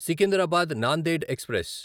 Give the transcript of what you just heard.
Secunderabad Nanded express